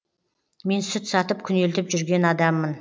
мен сүт сатып күнелтіп жүрген адаммын